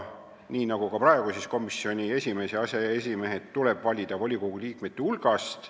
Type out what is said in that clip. Nii nagu ka praegu, tuleb komisjoni esimees ja aseesimehed valida volikogu liikmete hulgast.